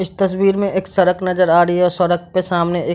इस तस्वीर में एक सड़क नजर आ रही है सड़क पे सामने ए --